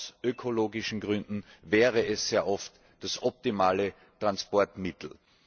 Aus ökologischen Gründen wäre es sehr oft das optimale Transportmittel.